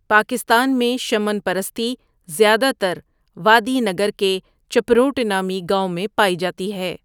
پاکستان میں شمن پرستی زیادہ تر وادئ نگر کے چپروٹ نامی گاؤں میں پائی جاتی ہے ۔